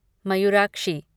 Mayurakshi